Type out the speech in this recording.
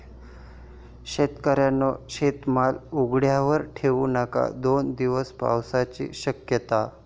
शेतकऱ्यांनो, शेतमाल उघड्यावर ठेऊ नका!, दोन दिवस पावसाची शक्यता